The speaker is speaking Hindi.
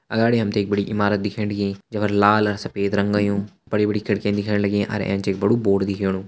अगाड़ी हमथे एक बड़ी ईमारत दिखेण लगीं जुफर लाल अ सफेद रंग अयूँ बड़ी बड़ी खिड़कीयन दिखेण लगी अर एैंच एक बडू बोर्ड दिखेणु।